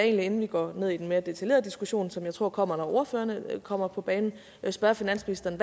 inden vi går ned i den mere detaljerede diskussion som jeg tror kommer når ordførerne kommer på banen spørge finansministeren